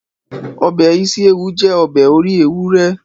Ọbẹ̀ ísíéwu jẹ́ ọbẹ̀ orí ewúrẹ́